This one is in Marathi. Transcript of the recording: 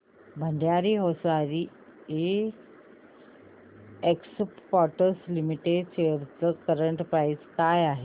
Bhandari hosiery exports limited shares ची करंट प्राइस काय आहे